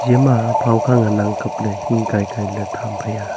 ema phawkha ngan ang kapley hing kai kailey tham phaiya.